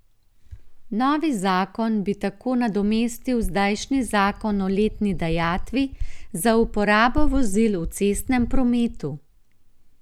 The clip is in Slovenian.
Novi zakon bi tako nadomestil zdajšnji zakon o letni dajatvi za uporabo vozil v cestnem prometu.